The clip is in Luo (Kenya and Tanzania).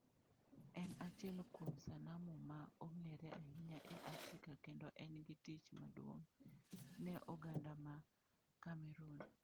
En achiel kuom sanamu ma ong'ere ahinya e Afrika kendo en gi tich maduong' ne oganda ma Cameroon.